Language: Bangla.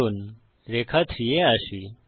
চলুন রেখা 3 এ আসি